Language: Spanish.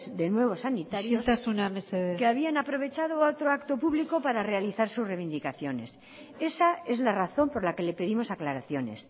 de nuevo sanitarios que habían aprovechado a otro acto público para realizar su reivindicaciones isiltasuna mesedez esa es la razón por la que le pedimos aclaraciones